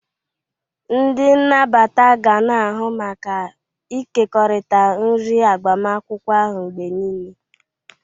Ndị nnabata ga na-ahụ maka ịkekọrịta nri agbamakwụkwọ ahụ mgbe niile.